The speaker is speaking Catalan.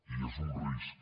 i és un risc